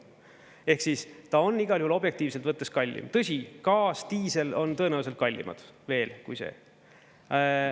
Ehk siis, ta on igal juhul objektiivselt võttes kallim, tõsi, gaas, diisel on tõenäoliselt kallimad veel kui see.